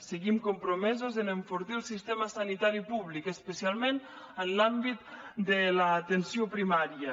seguim compromesos en enfortir el sistema sanitari públic especialment en l’àmbit de l’atenció primària